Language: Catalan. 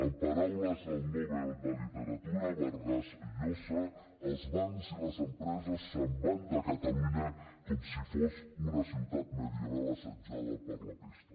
en paraules del nobel de literatura vargas llosa els bancs i les empreses se’n van de catalunya com si fos una ciutat medieval assetjada per la pesta